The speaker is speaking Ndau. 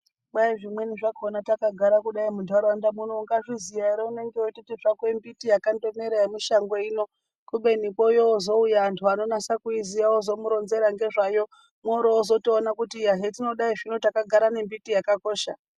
Kai zvimweni zvakona takagara kudai muntaraunda muno ungazviziya ere unenge uiti zvako mbiti yakangomera yemushangoyi ino. Kubeni yozouya vantu anonasa kuiziya ozomuronzera ngezvayo oro vozotoona kuti iya zvatinodaro zvino takagara nembiti yakakosha.